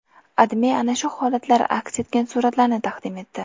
AdMe ana shu holatlar aks etgan suratlarni taqdim etdi .